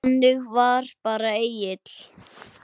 Þannig var bara Egill.